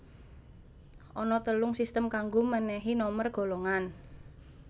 Ana telung sistem kanggo mènèhi nomer golongan